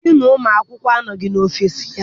Diinu ụmụ akwụkwọ anọghị n'ọfịịsi ya.